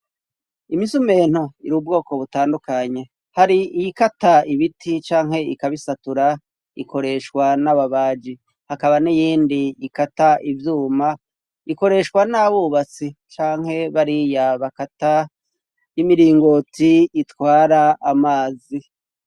Imisumento iri ubwoko butandukanye hari iy ikata ibiti canke ikabisatura ikoreshwa n'ababaji hakaba n'iyindi ikata ivyuma ikoreshwa n'abubatsi canke bari ya bakata 'imiringoti itwara amazi.